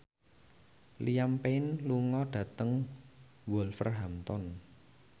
Liam Payne lunga dhateng Wolverhampton